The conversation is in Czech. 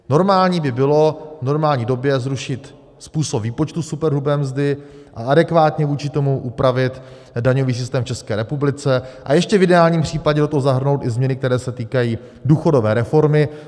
Normální by bylo v normální době zrušit způsob výpočtu superhrubé mzdy a adekvátně vůči tomu upravit daňový systém v České republice a ještě v ideálním případě do toho zahrnout i změny, které se týkají důchodové reformy.